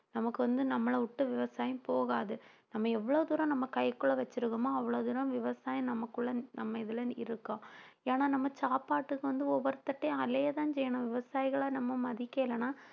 நமக்கு வந்து நம்மளை விட்டு விவசாயம் போகாது நம்ம எவ்வளவு தூரம் நம்ம கைக்குள்ள வச்சிருக்கோமோ அவ்வளவு தூரம் விவசாயம் நமக்குள்ள நம்ம இதில இருக்கோம் ஏன்னா நம்ம சாப்பாட்டுக்கு வந்து ஒவ்வொருத்தர்ட்டயும் அலையதான் செய்யணும் விவசாயிகளை நம்ம மதிக்கலைன்னா